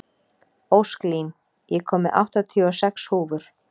Ósklín, ég kom með áttatíu og sex húfur!